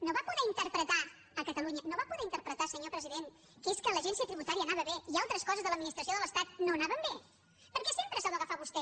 no va poder interpretar a catalunya no va poder interpretar senyor president que és que l’agència tributària anava bé i altres coses de l’administració de l’estat no anaven bé per què sempre s’ha d’agafar vostè